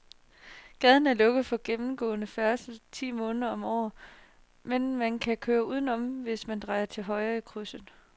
Gaden er lukket for gennemgående færdsel ti måneder om året, men man kan køre udenom, hvis man drejer til højre i krydset.